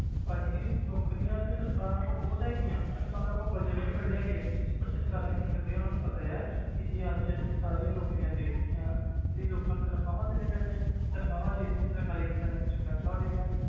ਭਾਜੀ ਨੌਕਰੀਆਂ ਤੇ ਸਰਕਾਰਾਂ ਕੋਲ ਬਹੁਤ ਹੈਗੀਆਂ ਸਰਕਾਰਾਂ ਕੋਲ budget ਵੀ ਬੜੇ ਹੈਗੇ ਆ ਪਰ ਸਰਕਾਰਾਂ ਕੀ ਕਰਦੀਆਂ ਉਹਨਾਂ ਨੂੰ ਪਤਾ ਆ ਕਿ ਅੱਜ ਅਸੀਂ ਸਾਰੀਆਂ ਨੌਕਰੀਆਂ ਦੇ ਦਿੱਤੀਆਂ ਤੇ ਲੋਕਾਂ ਨੂੰ ਤਨਖ਼ਾਹਾਂ ਦੇਣੀਆਂ ਪੈਣੀਆਂ ਤਨਖ਼ਾਹਾਂ ਦੇ ਦਿੱਤੀਆਂ ਸਰਕਾਰੀ ਖ਼ਜਾਨੇ ਵਿੱਚੋਂ ਪੈਸਾ ਉੱਡ ਗਿਆ।